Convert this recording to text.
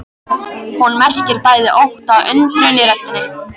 Hún merkir bæði ótta og undrun í röddinni.